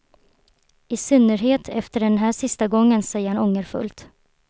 I synnerhet efter den här sista gången, säger han ångerfullt.